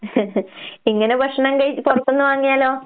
ഇങ്ങനെ ഭക്ഷണം കയ് പൊറത്ത്ന്ന് വാങ്ങിയാലോ?